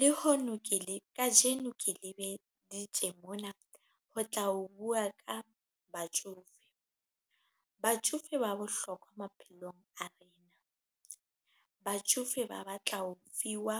Le hono ke le kajeno ke le beditje mona ho tla o bua ka batjofe, batjofe ba bohlokwa maphelong a rena, batjofe ba batla ho fiwa